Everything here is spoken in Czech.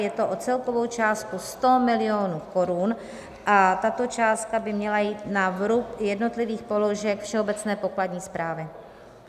Je to o celkovou částku 100 milionů korun a tato částka by měla jít na vrub jednotlivých položek Všeobecné pokladní správy.